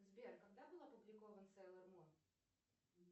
сбер когда был опубликован сейлор мун